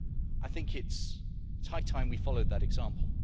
I think it is high time we followed that example.